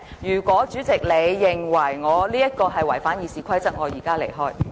如果代理主席認為我違反《議事規則》，我現在便離開會議廳。